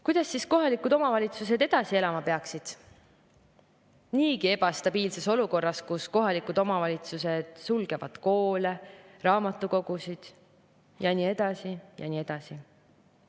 Kuidas siis kohalikud omavalitsused edasi elama peaksid niigi ebastabiilses olukorras, kus kohalikud omavalitsused sulgevad koole, raamatukogusid ja nii edasi ja nii edasi?